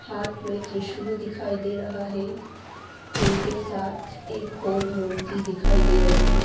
साथ में त्रिशूल दिखाई दे रहा है उनके साथ एक और मूर्ति दिखाई दे रही--